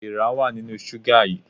Èèrà wà nínú ṣúgà yìí.